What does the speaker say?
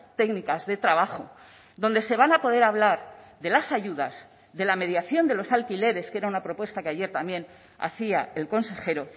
técnicas de trabajo donde se van a poder hablar de las ayudas de la mediación de los alquileres que era una propuesta que ayer también hacía el consejero